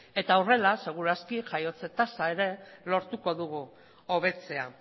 eta horrela seguru aski jaiotze tasa lortuko dugu hobetzea